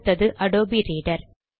அடுத்தது Adobe reader